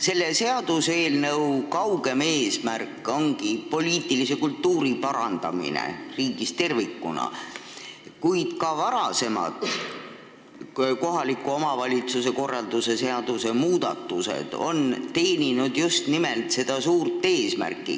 Selle seaduseelnõu kaugem eesmärk ongi parandada poliitilist kultuuri riigis tervikuna, kuid ka varasemad kohaliku omavalitsuse korralduse seaduse muudatused on teeninud just nimelt seda suurt eesmärki.